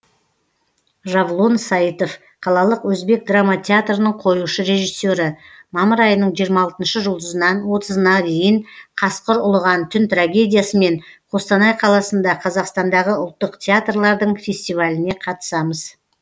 жавлон сайтов қалалық өзбек драма театрының қоюшы режиссе рі мамыр айының жиырма алтыншы жұлдызынан отызына дейін қасқыр ұлыған түн трагедиясымен қостанай қаласында қазақстандағы ұлттық театрлардың фестиваліне қатысамыз